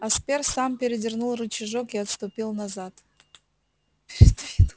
аспер сам передвинул рычажок и отступил назад